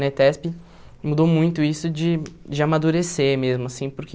Na ETESP mudou muito isso de de amadurecer mesmo, assim, porque